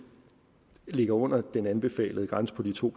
ligger under den anbefalede grænse på de to